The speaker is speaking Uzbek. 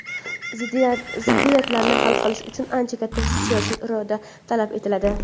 ziddiyatlarni hal qilish uchun "ancha katta siyosiy iroda" talab etiladi.